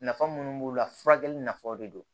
Nafa munnu b'u la furakɛli nafaw de do